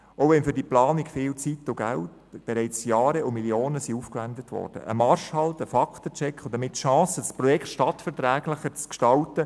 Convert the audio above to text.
Auch wenn für die Planung bereits viele Jahre und Millionen aufgewendet worden sind, drängt sich ein Marschhalt, ein Fakten-Check dringend auf und damit die Chance, das Projekt stadtverträglicher zu gestalten.